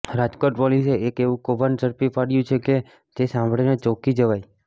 રાજકોટ પોલીસે એક એવું કૌભાંડ ઝડપી પાડ્યું છે કે જે સાંભળીને ચોંકી જવાય